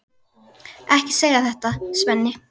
Ekki segja þetta, Svenni.